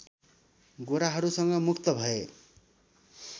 गोराहरूसँग मुक्त भए